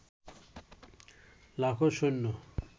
লাখো সৈন্য